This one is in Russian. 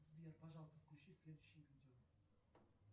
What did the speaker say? сбер пожалуйста включи следующее видео